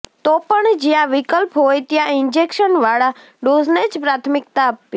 તો પણ જ્યાં વિક્લ્પ હોય ત્યાં ઇંજેકશનવાળા ડોઝને જ પ્રાથમિક્તા આપવી